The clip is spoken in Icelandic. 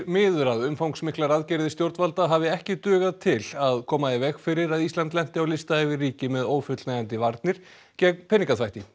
miður að umfangsmiklar aðgerðir stjórnvalda hafi ekki dugað til að koma í veg fyrir að Ísland lenti á lista yfir ríki með ófullnægjandi varnir gegn peningaþvætti